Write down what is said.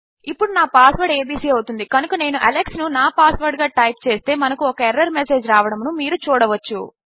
ఇప్పుడు నా password abcఅవుతుంది కనుక నేను అలెక్స్ ను నా పాస్వర్డ్ గా టైప్ చేస్తే మనకు ఒక ఎర్రర్ మెసేజ్ రావడమును మీరు చూడవచ్చు